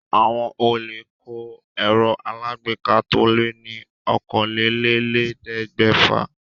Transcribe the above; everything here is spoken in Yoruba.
Àwọn olè kó ẹ̀rọ alágbèéká to lé ní okòólélẹ́ẹ̀ẹ́dẹ́gbẹ́fà.